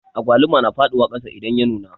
Agwaluma na faɗiwa kasa idan ya nuna